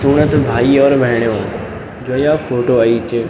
सुणा त भाई और भेणीयो जो या फोटो अयीं च --